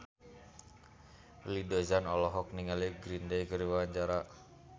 Willy Dozan olohok ningali Green Day keur diwawancara